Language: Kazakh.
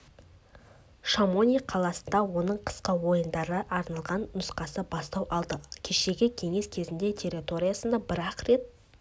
шамони қаласында оның қысқы ойындарға арналған нұсқасы бастау алды кешегі кеңес кезеңінде территориясында бір-ақ рет